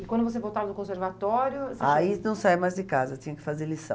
E quando você voltava do conservatório... Aí não saia mais de casa, tinha que fazer lição.